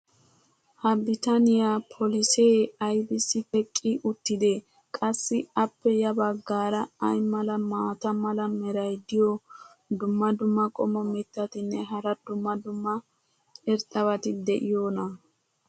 ha bitaniya polisee aybissi teqqi uttidee? qassi appe ya bagaara ay mla maata mala meray diyo dumma dumma qommo mitattinne hara dumma dumma irxxabati de'iyoonaa?